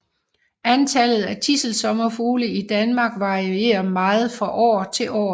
Antallet af tidselsommerfugle i Danmark varierer meget fra år til år